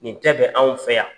Nin tɛ bɛ anw fɛ yan.